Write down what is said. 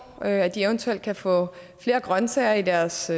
og at de eventuelt kan få flere grønsager i deres